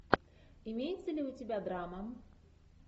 имеется ли у тебя драма